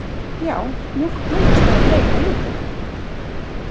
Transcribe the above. Já, mjólk flóðhesta er bleik á litinn!